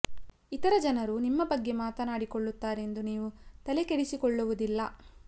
ಇತರ ಜನರು ನಿಮ್ಮ ಬಗ್ಗೆ ಮಾತನಾಡಿಕೊಳ್ಳುತಾರೆ ಎಂದು ನೀವು ತಲೆ ಕೆಡಿಸಿಕೊಳ್ಳುವುದಿಲ್ಲ